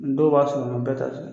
Dɔw b'a sɔrɔ nga bɛɛ t'a sɔrɔ.